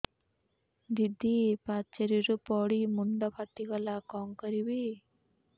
ଦିଦି ପାଚେରୀରୁ ପଡି ମୁଣ୍ଡ ଫାଟିଗଲା କଣ କରିବି